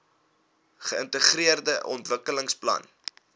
geintegreerde ontwikkelingsplan idp